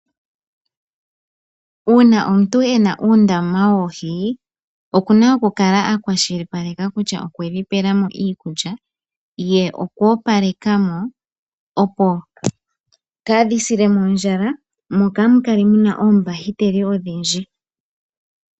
Uuna omuntu ena uundama woohi, okuna oku kala a kwashilipaleka kutya okwedhi pelamo iikulya ye okwoopalekamo, opo kaadhi silemo ondjala mo kamu kale muna oombahiteli odhindji.